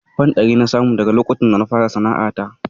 Fan ɗari na samu a daka lokacin da na fara sana'ata